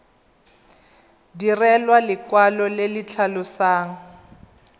direlwa lekwalo le le tlhalosang